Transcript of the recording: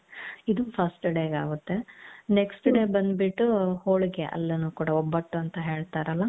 ಇದು first dayಗಾಗುತ್ತೆ next day ಬಂದ್ಬಿಟ್ಟು ಹೋಳಿಗೆ ಅಲ್ಲೀನೂ ಕೂಡ ಒಬ್ಬಟು ಅಂತ ಹೇಳ್ತಾರಲ್ಲ .